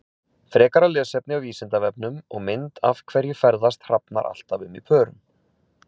Frekara lesefni á Vísindavefnum og mynd Af hverju ferðast hrafnar alltaf um í pörum?